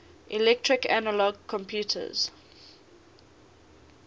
electronic analog computers